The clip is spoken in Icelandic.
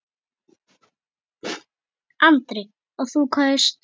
Andri: Og þú kaust?